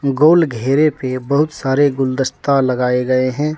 गोल घेरे पे बहुत सारे गुलदस्ता लगाए गए हैं।